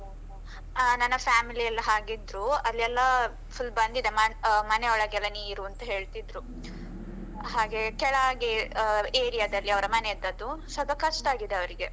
ಹ ನನ್ನ family ಎಲ್ಲ ಹಾಗಿದ್ರೂ, ಅಲ್ಲೆಲ್ಲ full ಬಂದಿದೆ ಮ~ ಮನೆಯೊಳಗೆಲ್ಲ ನೀರು ಅಂತ ಹೇಳ್ತಿದ್ರು, ಹಾಗೆ ಕೆಳಗೆ ಆ area ದಲ್ಲಿ ಅವರ ಮನೆ ಇದದ್ದು, ಸ್ವಲ್ಪ ಕಷ್ಟ ಆಗಿದೆ ಅವರಿಗೆ.